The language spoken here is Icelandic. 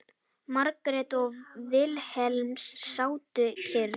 Margrét og Vilhelm sátu kyrr.